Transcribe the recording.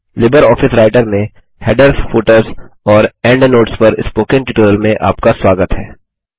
Libre office writer में headers footers और endnotes पर स्पोकन ट्यूटोरियल में आपका स्वागत है